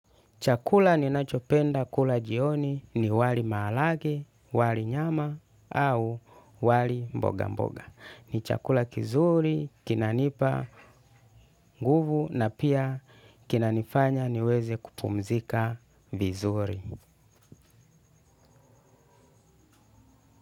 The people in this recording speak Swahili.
Chakula ninachopenda kula jioni ni wali maharagwe, wali nyama au wali mboga. Ni chakula kizuri, kinanipa nguvu na pia kinanifanya niweze kupumzika vizuri.